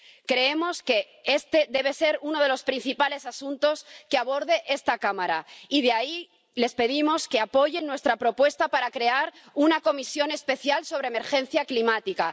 Creemos que este debe ser uno de los principales asuntos que aborde esta Cámara y por eso les pedimos que apoyen nuestra propuesta de crear una comisión especial sobre emergencia climática.